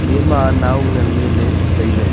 iyama nau nganley ley tailey.